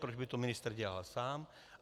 Proč by to ministr dělal sám?